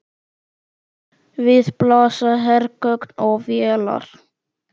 Við blasa hergögn og vélar.